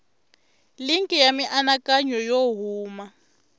linki ya mianakanyo yo huma